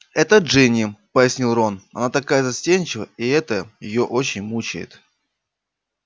это джинни пояснил рон она такая застенчивая и это её очень мучает